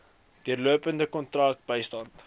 deurlopende kontak bystand